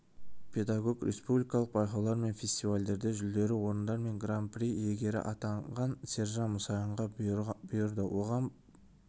педагог республикалық байқаулар мен фестивальдерде жүлдері орындар мен гран-при иегері атанған сержан мұсайынға бұйырды оған